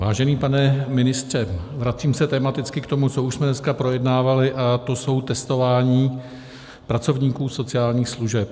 Vážený pane ministře, vracím se tematicky k tomu, co už jsme dneska projednávali, a to jsou testování pracovníků sociálních služeb.